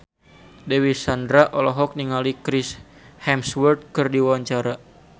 Dewi Sandra olohok ningali Chris Hemsworth keur diwawancara